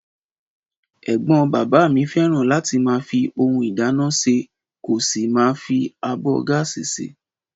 Ẹ̀gbọ́n bàbá mi fẹ́ràn láti máa fi ohun ìdáná sè kó sì máa fi abọ́ gáàsì ṣe